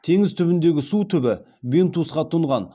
теңіз түбіндегі су түбі бентусқа тұнған